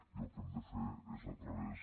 i el que hem de fer és a través